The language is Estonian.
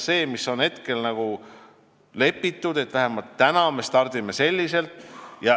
Kokku on lepitud, et me stardime just selliselt.